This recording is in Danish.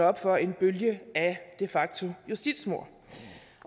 op for en bølge af de facto justitsmord